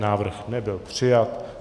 Návrh nebyl přijat.